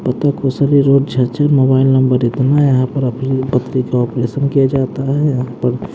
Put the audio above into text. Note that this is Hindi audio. पता खुशरी रोड झरझर मोबाइल नंबर इतना यहां पर पथरी का ऑपरेशन किया जाता है यहां पर--